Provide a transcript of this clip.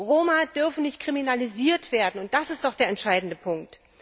Roma dürfen nicht kriminalisiert werden, und das ist doch der entscheidende Punkt.